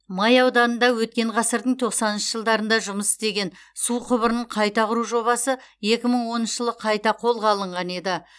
май ауданында өткен ғасырдың тоқсаныншы жылдарында жұмыс істеген су құбырын қайта құру жобасы екі мың оныншы жылы қайта қолға алынған еді